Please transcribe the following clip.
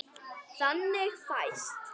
Þannig fæst